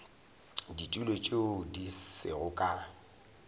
ditulo tše di sego ka